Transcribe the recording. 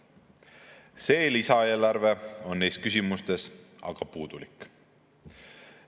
See lisaeelarve on neis küsimustes aga puudulik.